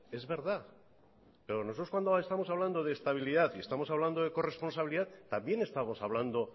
es verdad pero nosotros cuando estamos hablando de estabilidad y estamos hablando de corresponsabilidad también estamos hablando